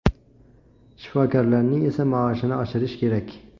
Shifokorlarning esa maoshini oshirish kerak.